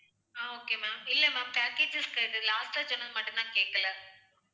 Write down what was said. ஆஹ் okay maam இல்லை maam packages last ஆ சொன்னது மட்டும்தான் கேட்கலை